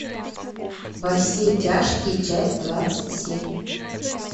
во все тяжкие часть двадцать семь